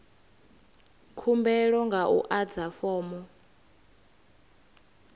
khumbelo nga u adza fomo